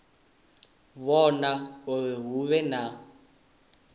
vhona uri hu vhe na